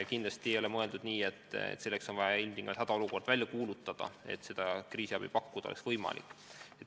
Kindlasti ei ole mõeldud nii, et selleks on vaja ilmtingimata hädaolukord välja kuulutada, et kriisiabi saaks pakkuda.